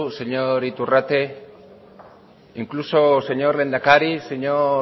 señor iturrate incluso señor lehendakari señor